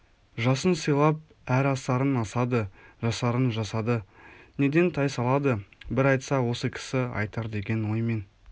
жасын сыйлап әр асарын асады жасарын жасады неден тайсалады бір айтса осы кісі айтар деген оймен